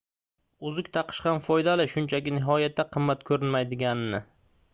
uzuk taqish ham foydali shunchaki nihoyatda qimmat ko'rinmaydiganini